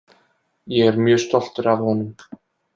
Ég er mjög stoltur af honum.